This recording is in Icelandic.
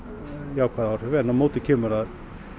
jákvæð áhrif en á móti kemur að